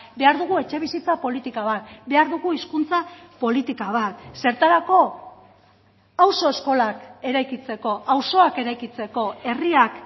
behar dugu etxebizitza politika bat behar dugu hizkuntza politika bat zertarako auzo eskolak eraikitzeko auzoak eraikitzeko herriak